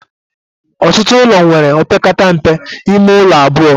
Ọtụtụ ụlọ nwere opekata mpe ime ụlọ abụọ